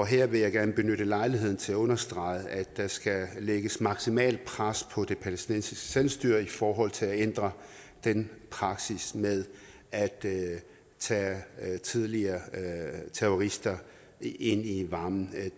her vil jeg gerne benytte lejligheden til at understrege at der skal lægges maksimalt pres på det palæstinensiske selvstyre i forhold til at ændre den praksis med at tage tidligere terrorister ind i varmen